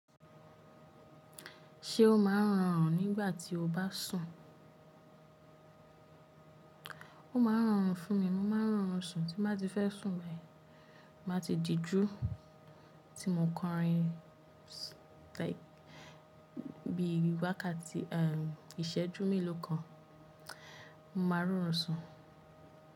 Ṣé o máa ń rọrùn nígbà tí o bá sùn? Ó máa ń rọrùn fún mi. Mo máa ń rọrùn sùn, tí bá ti fẹ́ sùn báyìí. Máa ti jíjú tí mò ń kọrin like bí i wákàtí, ìṣẹ́jú mélòó kan. Mo máa rọrùn sùn.